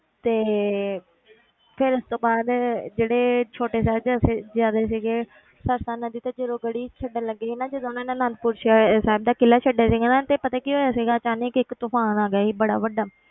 ਤੇ ਫਿਰ ਉਸ ਤੋਂ ਬਾਅਦ ਜਿਹੜੇ ਛੋਟੇ ਸਾਹਿਬਜ਼ਾਦੇ ਸਾਹਿਬਜ਼ਾਦੇ ਸੀਗੇ ਸਰਸਾ ਨਦੀ ਤੇ ਜਦੋਂ ਗੜੀ ਛੱਡਣ ਲੱਗੇ ਸੀ ਨਾ ਜਦੋਂ ਉਹਨਾਂ ਨੇ ਅਨੰਦਪੁਰ ਸ਼ਹਿ~ ਸਾਹਿਬ ਦਾ ਕਿਲ੍ਹਾ ਛੱਡਿਆ ਸੀਗਾ ਨਾ ਤੇ ਪਤਾ ਕੀ ਹੋਇਆ ਸੀਗਾ ਅਚਾਨਕ ਇੱਕ ਤੂਫ਼ਾਨ ਆ ਗਿਆ ਸੀ ਬੜਾ ਵੱਡਾ